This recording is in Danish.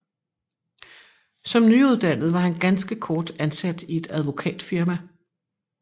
Som nyuddannet var han ganske kort ansat i et advokatfirma